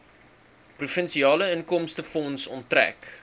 provinsiale inkomstefonds onttrek